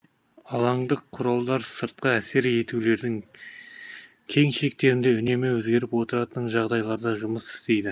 алаңдық құралдар сыртқы әсер етулердің кең шектерінде үнемі өзгеріп отыратын жағдайларда жұмыс істейді